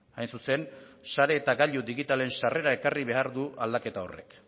hain zuzen sare eta gailu digitalen sarrera ekarri behar du aldaketa horrek